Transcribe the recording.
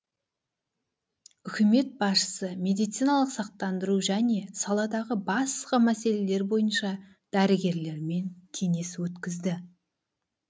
үкімет басшысы медициналық сақтандыру және саладағы басқа мәселелер бойынша дәрігерлермен кеңес өткізді